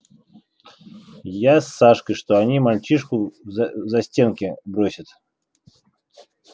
я с сашкой что они мальчишку в за застенки бросят